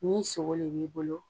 Ni sogo le b'i bolo,